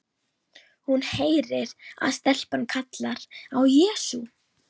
Hún heyrir að stelpan kallar á Jesú.